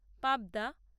পাবদা